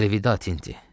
Əlvida, Tinti.